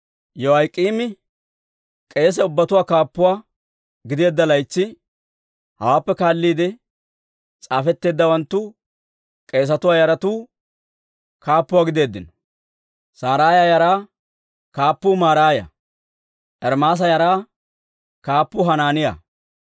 Yoyaak'iimi k'eese ubbatuwaa kaappuwaa gideedda laytsi, hawaappe kaalliide s'aafetteeddawanttu, k'eesatuwaa yaratuu kaappuwaa gideeddino. Saraaya yaraa kaappuu Maraaya. Ermaasa yaraa kaappuu Hanaaniyaa.